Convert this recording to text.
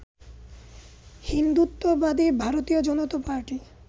হিন্দুত্ববাদী ভারতীয় জনতা পার্টি